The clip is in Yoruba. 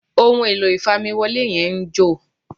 ohun èlò ìfamiwọlé yẹn ń jò